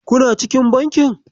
Kuna cikin bankin?